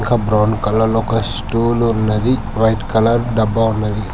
ఒక brown colour stool ఉన్నది white colour డబ్బా ఉన్నది.